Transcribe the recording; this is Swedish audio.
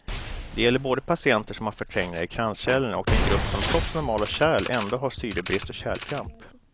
Det gäller både patienter som har förträngningar i kranskärlen och den grupp som trots normala kärl ändå har syrebrist och kärlkramp.